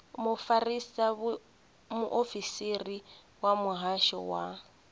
mufarisa muofisiri wa muhasho wa